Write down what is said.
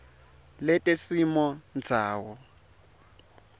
letesimondzawo